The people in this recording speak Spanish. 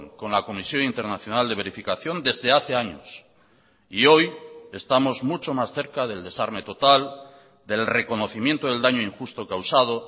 con la comisión internacional de verificación desde hace años y hoy estamos mucho más cerca del desarme total del reconocimiento del daño injusto causado